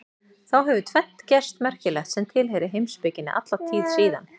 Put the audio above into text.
Þá hefur tvennt gerst merkilegt sem tilheyrir heimspekinni alla tíð síðan.